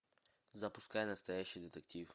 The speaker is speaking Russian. запускай настоящий детектив